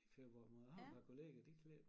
I februar måned jeg har et par kollegaer de klipper